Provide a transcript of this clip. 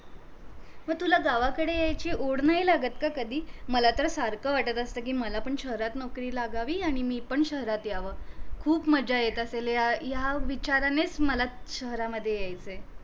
म तुला गावा कडे येयची ओढ नाही लागत का कधी मला तर सारख वाटत असत कि मला पण शहरात नौकरी लागावी आणि मी पण शहरात याव खूप मज्जा येत असेल या विचारांनीच मला शहरामधे येयचय